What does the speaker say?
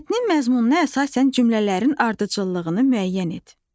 Mətnin məzmununa əsasən cümlələrin ardıcıllığını müəyyən et.